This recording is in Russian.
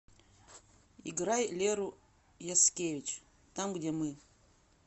играй леру яскевич там где мы